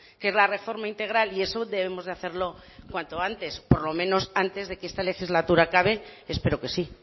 que es la reforma integral y eso debemos de hacerlo cuanto antes por lo menos antes de que esta legislatura acabe espero que sí